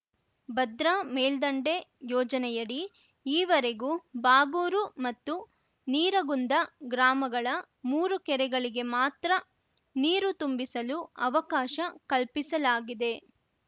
ಭದ್ರಾ ಮೇಲ್ದಂಡೆ ಯೋಜನೆಯಡಿ ಈವರೆಗೂ ಬಾಗೂರು ಮತ್ತು ನೀರಗುಂದ ಗ್ರಾಮಗಳ ಮೂರು ಕೆರೆಗಳಿಗೆ ಮಾತ್ರ ನೀರು ತುಂಬಿಸಲು ಅವಕಾಶ ಕಲ್ಪಿಸಲಾಗಿದೆ